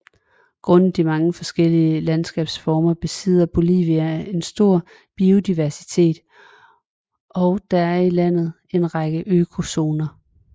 Grundet de mange forskellige landskabsformer besidder Bolivia en stor biodiversitet og der er i landet en række økozoner